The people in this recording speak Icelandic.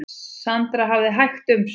Sandra hafði hægt um sig.